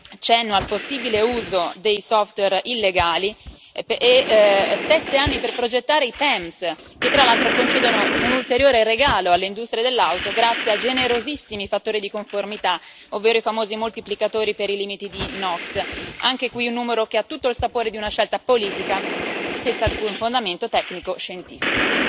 cenno al possibile uso di software illegali, e sette anni per progettare i PEMS, che tra l'altro concedono un ulteriore regalo all'industria dell'auto grazie a generosissimi fattori di conformità, ovvero i famosi moltiplicatori per i limiti di NOx anche qui un numero che ha tutto il sapore di una scelta politica, senza alcun fondamento tecnico scientifico.